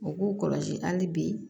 U k'u kɔlɔsi hali bi